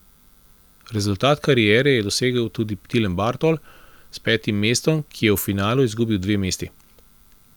Rezultat kariere je dosegel tudi Tilen Bartol s petim mestom, ki je v finalu izgubil dve mesti.